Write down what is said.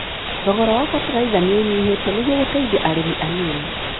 Thogora wa bataraitha nĩũnyihĩte nĩguo gũteithia arĩmi anini.